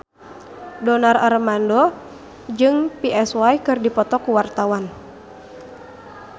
Donar Armando Ekana jeung Psy keur dipoto ku wartawan